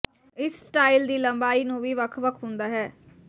ਇਸ ਸਟਾਈਲ ਦੀ ਲੰਬਾਈ ਨੂੰ ਵੀ ਵੱਖ ਵੱਖ ਹੁੰਦਾ ਹੈ